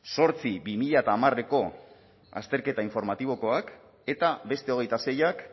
zortzi bi mila hamareko azterketa informatibokoak eta beste hogeita seiak